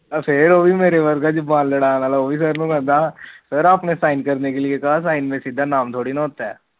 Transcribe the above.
ਫਿਰ ਉਹ ਵੀ ਮੇਰੇ ਵਰਗਾ ਜੁਬਾਨ ਲੜਨ ਆਲਾ ਸਰ ਨੂੰ ਕਹਿੰਦਾ ਸਰ ਆਪ ਨੇ ਸਾਇਨ ਕਰਨੇ ਕੋ ਕਹਾ ਸਾਈਨ ਮੇ ਸਿਧਾ ਨਾਮ ਥੋਰੀ ਹੋਤਾ